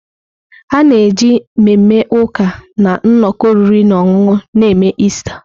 A na-eji mmemme ụka na nnọkọ oriri na ọṅụṅụ na-eme Ista.